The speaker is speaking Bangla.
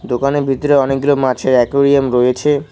দোকানের ভিতরে অনেকগুলো মাছে একুইরিয়াম রয়েছে।